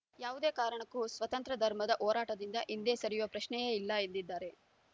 ಯಾವುದೇ ಕಾರಣಕ್ಕೂ ಸ್ವತಂತ್ರ ಧರ್ಮದ ಹೋರಾಟದಿಂದ ಹಿಂದೆ ಸರಿಯುವ ಪ್ರಶ್ನೆಯೇ ಇಲ್ಲ ಎಂದಿದ್ದಾರೆ